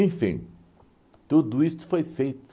tudo isso foi feito.